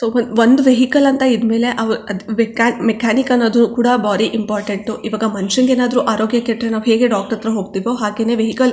ಒಂದು ವೆಹಿಕಲ್ ಅಂತ ಇದ್ದ್ ಮೇಲೆ ಮೆಕ್ಯಾನಿಕ್ ಅನ್ನೋದು ಕೂಡ ಬಾರಿ ಇಂಪಾರ್ಟೆಂಟ್ ಈವಾಗ ಮಂಷ್ಯಂಗೆ ಏನಾದ್ರು ಆರೋಗ್ಯ ಕೆಟ್ಟ್ರೆ ನಾವು ಹೇಗೆ ಡಾಕ್ಟರ್ ಹತ್ರ ಹೋಗತ್ತೀವೋ ಹಾಗೇನೆ ವೆಹಿಕಲ್ .